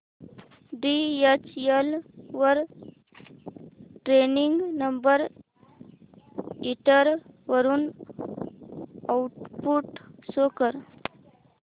DHL वर tracking number enter करून output show कर